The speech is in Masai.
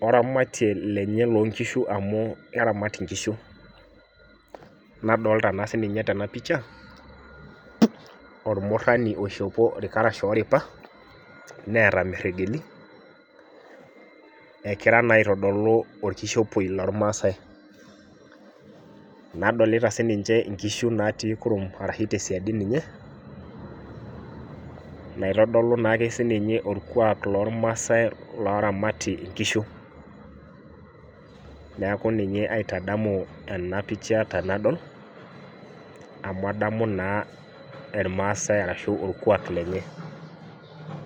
oramatare naramat inkishu, adoolta tenapisha ormurani oishopo irkarash ooripa neeta imeregeli , egira naa aitodolu olkishopiei loo ilmaasai , naadolta sii niche inkishu naa tii kurum ashu tesiadi niche, naitodoli naa ake siniche orkuaak loo irmaasai loramati inkishu neeku ninye aitadamu enapicha te nadol amu adamu naa irmaaasai ashu orkuuak lenye.